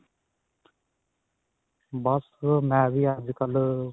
ਬੱਸ ਮੈਂ ਵੀ ਅੱਜਕਲ